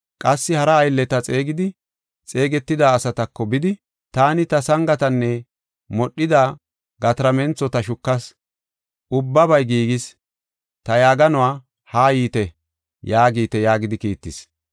Qassi hara aylleta xeegidi, xeegetida asatako bidi, ‘Taani ta sangatanne modhida gatarmenthota shukas; ubbabay giigis. Ta yaaganuwa haa yiite yaagite’ yaagidi kiittis.